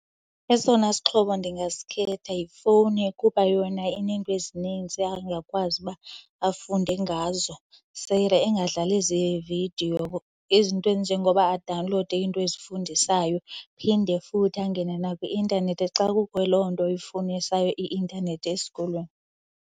Esona sixhobo ndingasikhetha yifowuni kuba yona ineento ezinintsi angakwazi uba afunde ngazo angadlali zevidiyo. Izinto ezinjengoba adawunlowude into ezifundisayo phinde futhi angene nakwi-intanethi xa kukho loo nto ifunisayo i-intanethi esikolweni.